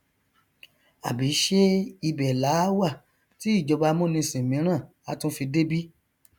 àbí ṣe ibẹ làá wà tí ìjọba amúnisìn míràn á tún fi dé bí